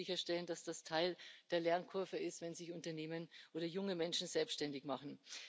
Wir müssen sicherstellen, dass das Teil der Lernkurve ist, wenn sich Unternehmen oder junge Menschen selbständig machen.